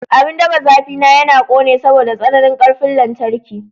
Abin ɗafa zafi na yana ƙone saboda tsananin ƙarfin lantarki.